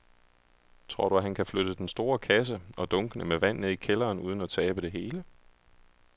Tror du, at han kan flytte den store kasse og dunkene med vand ned i kælderen uden at tabe det hele?